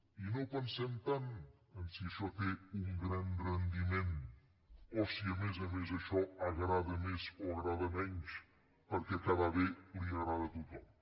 i no pensem tant en si això té un gran rendiment o si a més a més això agrada més o agrada menys perquè quedar bé li agrada a tothom